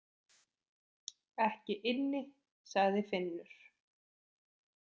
Ekki inni, sagði Finnur.